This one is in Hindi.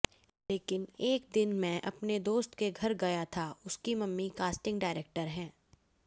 लेकिन एक दिन मैं अपने दोस्त के घर गया था उसकी मम्मी कास्टिंग डायरेक्टर हैं